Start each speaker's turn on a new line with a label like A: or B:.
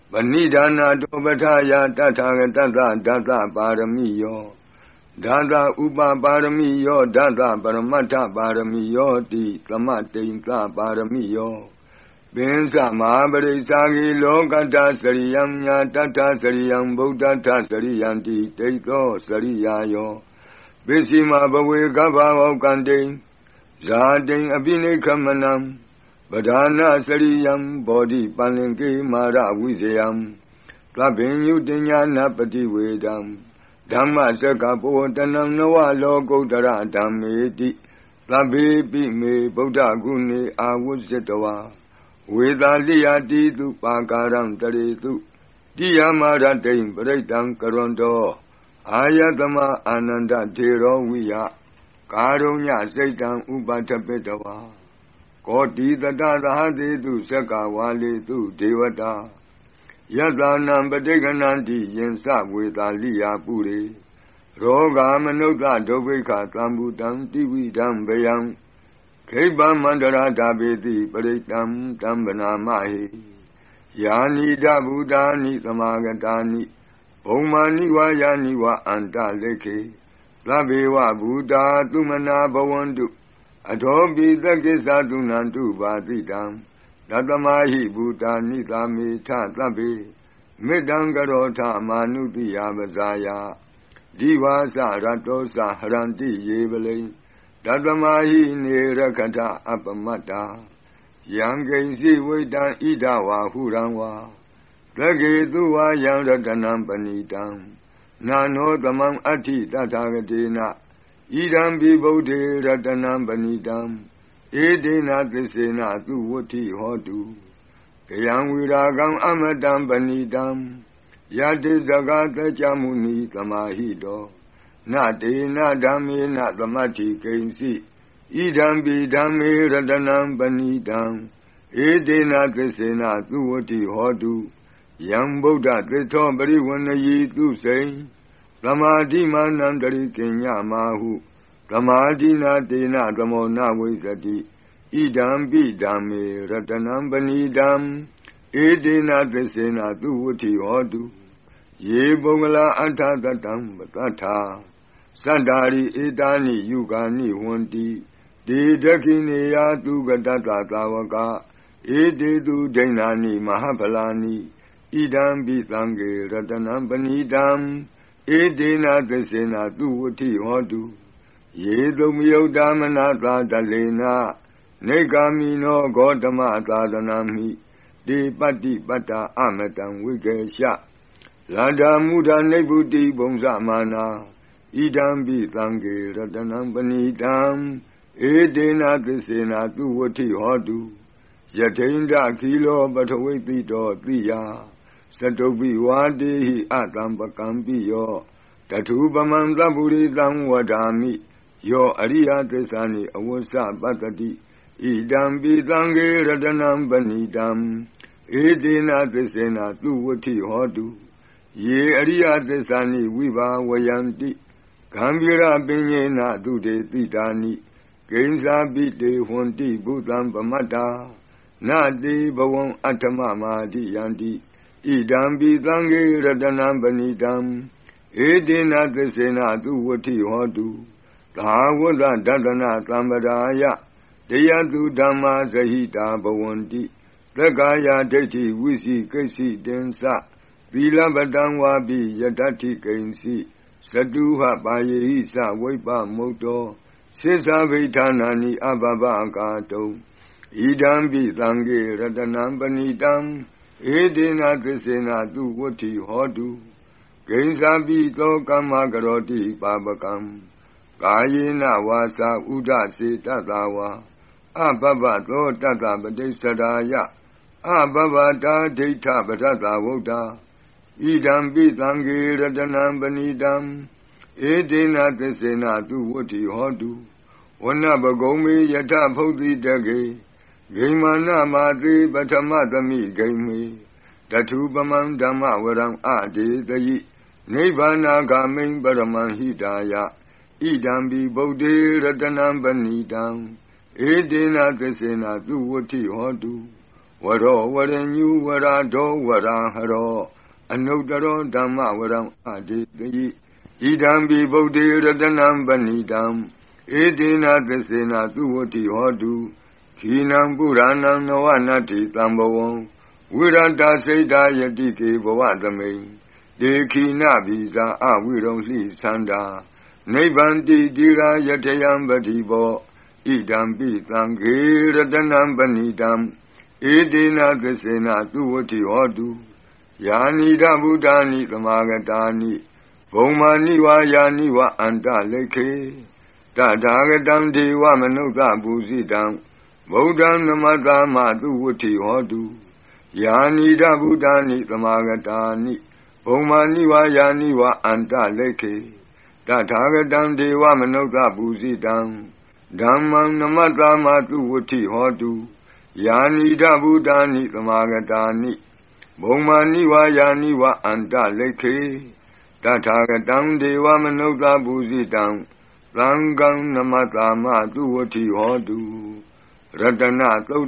A: ပဏိဓာနတော ပဋ္ဌာယ တထာ ဂတဿ ဒသ ပါရမိယော, ဒသ ဥပပါရမိယော, ဒသ ပရမတ္ထ ပါရမိယောတိ သမတ္တိံသ ပါရမိယော, ပဉ္စ မဟာပရိစ္စာဂေ, လောကတ္ထစရိယံ ဉာတတ္ထစရိယံ ဗုဒ္ဓတ္ထစရိယန္တိ တိဿော စရိယာယော၊ ပစ္ဆိမဘဝေ ဂဗ္ဘဝေါက္ကန္တိံ၊ ဇာတိံ အဘိနိက္ခမနံ၊ ပဓာနစရိယံ ဗောဓိပလ္လင်္ကေ မာရဝိဇယံ သဗ္ဗညုတညာဏပ္ပဋိဝေဓံ။ ဓမ္မစက္ကပ္ပဝတ္တနံ, နဝ လောကုတ္တရ ဓမ္မေတိ၊ သဗ္ဗေပိ မေ ဗုဒ္ဓဂုဏေ၊ အာဝဇ္ဇေ တွာ ဝေသာ လိယာ တီသု ပါကာရန္တ ရေသု တိယာမရတ္တိံ ပရိတ္တံ ကရောန္တော အာယသ္မာ အာနန္ဒတ္ထေ ရောဝိယ၊ ကာရုညစိတ္တံ ဥပဋ္ဌပေတွာ — ၂၆။ ကောဋီသတသဟဿေသု၊ စက္ကဝါဠေသု ဒေဝတာ။ ယဿာဏံ ပဋိဂ္ဂဏှန္တိ၊ ယဉ္စ ဝေသာလိယာ ပုရေ။ ၂၇။ ရောဂါမနုဿဒုဗ္ဘိက္ခ−သမ္ဘူတံ တိဝိဓံ ဘယံ။ ခိပ္ပ မန္တရဓာပေသိ၊ ပရိတ္တံ တံ ဘဏာမဟေ။ ၂၈။ ယာနီဓ ဘူတာနိ သမာဂတာနိ၊ ဘုမ္မာနိ ဝါ ယာနိ ဝ အန္တလိက္ခေ။ သဗ္ဗေဝ ဘူတာ သုမနာ ဘဝန္တု၊ အထောပိ သက္ကစ္စ သုဏန္တု ဘာသိတံ။ ၂၉။ တသ္မာဟိ ဘူတာ နိသာမေထ သဗ္ဗေ၊ မေတ္တံ ကရောထ မာနုသိယာ ပဇာယ။ ဒိဝါ စ ရတ္တော စ ဟရန္တိ ယေ ဗလိံ၊ တသ္မာ ဟိ နေ ရက္ခထ အပ္ပမတ္တာ။ ၃၀။ ယံကိဉ္စိ ဝိတ္တံ ဣဓ ဝါ ဟုရံ ဝါ၊ သဂ္ဂေသု ဝါ ယံ ရတနံ ပဏီတံ၊ န နော သမံ အတ္ထိ တထာဂတေန၊ ဣဒမ္ပိ ဗုဒ္ဓေ ရတနံ ပဏီတံ၊ ဧတေန သစ္စေန သုဝတ္ထိ ဟောတု။ ၃၁။ ခယံ ဝိရာဂံ အမတံ ပဏီတံ၊ ယဒဇ္ဈ ဂါ သကျမုနီ သမာဟိတော။ န တေန ဓမ္မေန သမတ္ထိ ကိဉ္စိ၊ ဣဒမ္ပိ ဓမ္မေ ရတနံ ပဏီတံ၊ ဧတေန သစ္စေန သုဝတ္ထိ ဟောတု။ ၃၂။ ယံ ဗုဒ္ဓသေဋ္ဌော ပရိဝဏ္ဏယီ သုစိံ၊ သမာဓိ မာနန္တရိက ည မာဟု။ သမာဓိနာ တေန သမော န ဝိဇ္ဇတိ၊ ဣဒမ္ပိ ဓမ္မေ ရတနံ ပဏီတံ၊ ဧတေန သစ္စေန သုဝတ္ထိ ဟောတု။ ၃၃။ ယေ ပုဂ္ဂလာ အဋ္ဌ သတံ ပသတ္ထာ၊ စတ္တာရိ ဧတာနိ ယုဂါနိ ဟောန္တိ။ တေ ဒက္ခိဏေယျာ သုဂတဿ သာဝကာ၊ ဧတေသု ဒိန္နာနိ မဟပ္ဖလာနိ။ ဣဒမ္ပိ သံဃေ ရတနံ ပဏီတံ၊ ဧတေန သစ္စေန သုဝတ္တိ ဟောတု။ ၃၄။ ယေ သုပ္ပယုတ္တာ မနသာ ဒဠှေန၊ နိက္ကာ မိနော ဂေါတမသာသနမှိ။ တေ ပတ္တိပတ္တာ အမတံ ဝိဂယှ၊ လဒ္ဓါ မုဓာ နိဗ္ဗုတိံ ဘုဉ္ဇ မာနာ။ ဣဒမ္ပိ သံဃေ ရတနံ ပဏီတံ၊ ဧတေန သစ္စေန သုဝတ္ထိ ဟောတု။ ၃၅။ ယထိန္ဒခီလော ပထဝိဿိတော သိယာ၊ စတုဗ္ဘိ ဝါတေဟိ အသမ္ပကမ္ပိယော။ တထူပမံ သပ္ပုရိသံ ဝဒါမိ။ ယော အရိယသစ္စာနိ အဝေစ္စ ပဿတိ။ ဣဒမ္ပိ သံဃေ ရတနံ ပဏီတံ၊ ဧတေန သစ္စေန သုဝတ္ထိ ဟောတု။ ၃၆။ ယေအရိယ သစ္စာနိ ဝိဘာဝယန္တိ၊ ဂမ္ဘီရပညေန သုဒေသိတာနိ။ ကိဉ္စာပိ တေ ဟောန္တိ ဘုသံ ပမတ္တာ၊ န တေ ဘဝံ အဋ္ဌမ မာဒိယန္တိ။ ဣဒမ္ပိ သံဃေ ရတနံ ပဏီတံ၊ ဧတေန သစ္စေန သုဝတ္ထိ ဟောတု။ ၃၇။ သဟာဝဿ ဒဿန သမ္ပဒါယ၊ တယဿု ဓမ္မာ ဇဟိတာ ဘဝန္တိ။ သက္ကာယဒိဋ္ဌီ ဝိစိကိစ္ဆိတဉ္စ၊ သီလဗ္ဗတံ ဝါပိ ယဒတ္ထိ ကိဉ္စိ။ ၃၈။ စတူဟပါယေဟိ စ ဝိပ္ပမုတ္တော၊ ဆစ္စာဘိဌာနာနိ အဘဗ္ဗ ကာတုံ။ ဣဒမ္ပိ သံဃေ ရတနံ ပဏီတံ၊ ဧတေန သစ္စေန သုဝတ္ထိ ဟောတု။ ၃၉။ ကိဉ္စာပိ သော ကမ္မကရောတိ ပါပကံ၊ ကာယေန ဝါစာ ဥဒ စေတသာ ဝါ၊ အဘဗ္ဗ သော တဿ ပဋိစ္ဆဒါယ၊ အဘဗ္ဗတာ ဒိဋ္ဌပဒဿာ ဝုတ္တာ၊ ဣဒမ္ပိ သံဃေ ရတနံ ပဏီတံ။ ဧတေန သစ္စေန သုဝတ္ထိ ဟောတု။ ၄၀။ ဝနပ္ပဂုမ္ဗေ ယထ ဖုဿိတဂ္ဂေ၊ ဂိမှာန မာသေ ပဌမသ္မိံ ဂိမှေ။ တထူပမံ ဓမ္မဝရံ အဒေသယိ၊ နိဗ္ဗာနဂါမိံ ပရမံ ဟိတာယ။ ဣဒမ္ပိ ဗုဒ္ဓေ ရတနံ ပဏီတံ၊ ဧတေန သစ္စေန သုဝတ္ထိ ဟောတု။ ၄၁။ ဝရော ဝရညူ ဝရဒေါ ဝရာဟရော၊ အနုတ္တရော ဓမ္မဝရံ အဒေသယိ။ ဣဒမ္ပိ ဗုဒ္ဓေ ရတနံ ပဏီတံ။ ဧတေန သစ္စေန သုဝတ္ထိ ဟောတု။ ၄၂။ ခီဏံ ပုရာဏံ နာဝ နတ္ထိ သမ္ဘဝံ၊ ဝိရတ္တစိတ္တာယတိကေ ဘဝသ္မိံ။ တေ ခီဏဗီဇာ အဝိရူဠိဆန္ဒာ၊ နိဗ္ဗန္တိ ဓီရာ ယထာယံ ပဒီပေါ။ ဣဒမ္ပိ သံဃေ ရတနံ ပဏီတံ၊ ဧတေန သစ္စေန သုဝတ္ထိ ဟောတု။ ၄၃။ ယာနီဓ ဘူတာနိ သမာဂတာနိ၊ ဘုမ္မာနိ ဝါ ယာနိ ဝ အန္တ လိက္ခေ။ တထာဂတံ ဒေဝမနုဿ ပူဇိတံ၊ ဗုဒ္ဓံ နမဿာမ သုဝတ္ထိ ဟောတု။ ၄၄။ ယာနီဓ ဘူတာနိ သမာဂတာနိ၊ ဘုမ္မာနိ ဝါ ယာနိဝ အန္တ လိက္ခေ။ တထာဂတံ ဒေဝမနုဿပူဇိတံ၊ ဓမ္မံ နမဿာမ သုဝတ္ထိ ဟောတု။ ၄၅။ ယာနီဓ ဘူတာနိ သမာဂတာနိ၊ ဘုမ္မာနိ ဝါ ယာနိ ဝ အန္တ လိက္ခေ။ တထာဂတံ ဒေဝမနုဿ ပူဇိတံ၊ သံဃံ နမဿာမ သုဝတ္ထိ ဟောတု။ ရတနသု